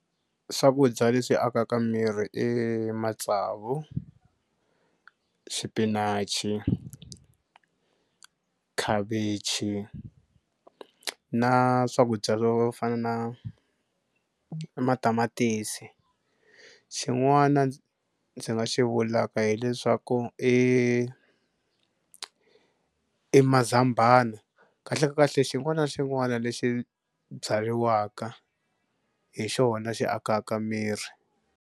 Swakudya leswi akaka miri matsavu, xipinachi, khavichi na swakudya swo fana na matamatisi xin'wana ndzi nga xi vulaka hileswaku i mazambana kahlekahle xin'wana na xin'wana lexi byariwaka hi xona xi akaka miri.